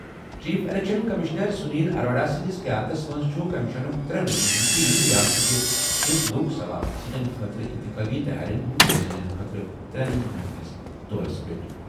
Chief election commissioner Sunil Arora سٕنٛدِس قیادتس منٛز چھُ کمیشنُک ترٛےٚ رُکنن ہُنٛد ٹیم ریاستٕچہِ شیٖتھ لوک سبھا سیٹَن خٲطرٕ اِنتخٲبی تَیٲرِین ہُنٛد جٲیزٕ نِنہٕ خٲطرٕ ترٛٮ۪ن دۄہَن ہِنٛدِس دورَس پٮ۪ٹھ ۔